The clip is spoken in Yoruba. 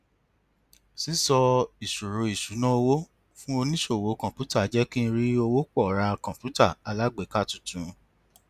sísọ ìṣòro ìṣúnná owó fún oníṣòwò kọǹpútà jẹ kí n rí owó pọ ra kọǹpútà alágbèéká tuntun